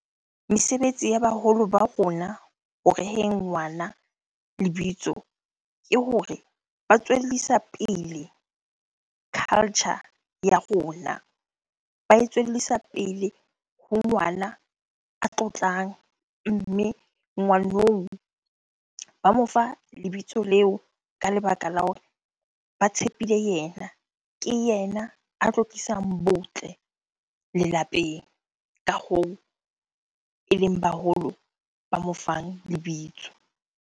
Mesebetsi ya baholo ba rona ho reheng ngwana lebitso, ke hore ba tswellisa pele culture ya rona. Ba e tswellisa pele ho ngwana a tlotlang, mme ngwaneo ba mo fa lebitso leo ka lebaka la hore ba tshepile yena. Ke yena a tlo tlisang botle lelapeng. Ka hoo eleng baholo ba mofang lebitso.